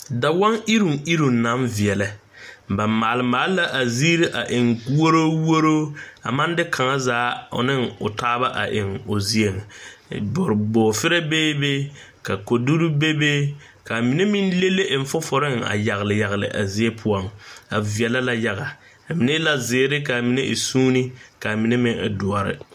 Dawɔŋ eruŋ eruŋ naŋ veɛlɛ. Ba maal la a zie a eŋ woroo woroo a maŋ de kaŋ zaa ane o taaba a eŋ o zien. Bɔreferɛ beebe, ka koduri bebe kaa mine meŋ leŋ eŋ foforeŋ a yagle yagle a zie pʋɔŋ. A veɛlɛ la yaga. A mine e la ziire kyɛ ka a mine e suuni kaa mine e dɔre.